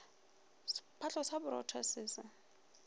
sephatlo sa borotho se se